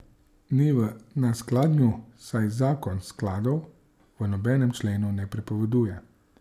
Ni v neskladju, saj zakon skladov v nobenem členu ne prepoveduje.